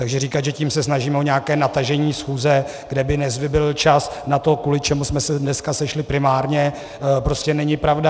Takže říkat, že se tím snažíme o nějaké natažení schůze, kde by nevybyl čas na to, kvůli čemu jsme se dneska sešli primárně, prostě není pravda.